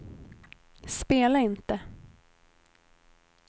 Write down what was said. spela inte